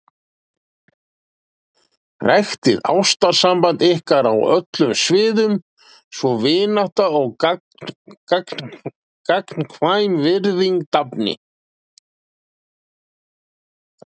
Ræktið ástarsamband ykkar á öllum sviðum svo vinátta og gagnkvæm virðing dafni.